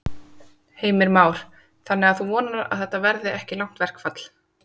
Heimir Már: Þannig að þú vonar að þetta verði ekki langt verkfall?